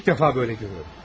İlk dəfə belə görürəm.